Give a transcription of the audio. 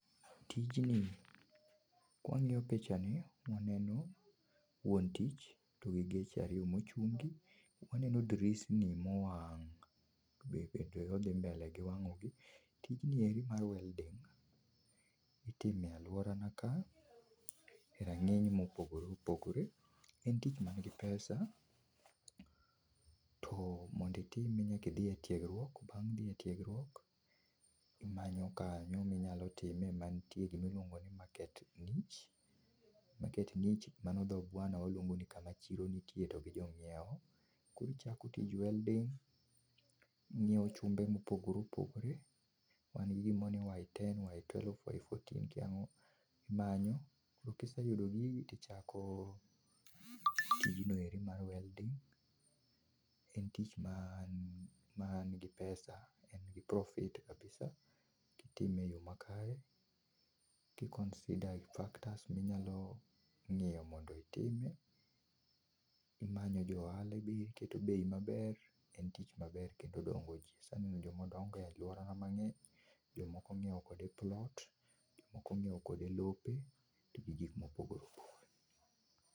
Tijni, kwang'iyo picha[ce] ni waneno wuon to tich gi geche ariyo mochungi ,waneno drisni mowang' be odhi mbele[ce] gi wang'ogi. Tijni eri mar welding[ce] itimo e aluorana ka e rang'iny mopogore opogore. En tich man gi pesa[ce] to monditime nyakidhi e tiegruok ,bang' dhi etiegruok imanyo kanyo minyalo time mantie gimiluongo ni market niche[ce] market niche[ce] mano dho bwana waluongo ni kama chiro nitieye to gi jonyiewo. Korichako tij welding[ce], inyiewo chumbe mopogore opogore, wan gi gimoro ni y10,y12, y14 kia ang'o ,imanyo, tokiseyudo gigi tichako tijno ero mar welding[ce], en tich maa man gi pesa[ce], nigi profit[ce] kabisa[ce] kitime e yoo makare ki consider factors minyalo ng'iyo mondo itime imanyo johala be iketo bei maber. En tich maber kendo odongo jii, aseneno jomodongo e aluorana mang'eny. Jomoko onyiewo kode plot[ce] jomoko onyiewo kode lope to gi gik mopogore opogore